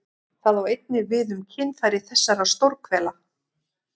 Það á einnig við um kynfæri þessar stórhvela.